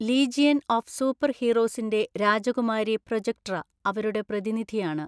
Legion of super ഹീറോസിന്റെ രാജകുമാരി Projectra അവരുടെ പ്രതിനിധിയാണ്.